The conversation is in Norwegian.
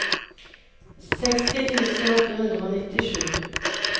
seksti tusen åtte hundre og nittisju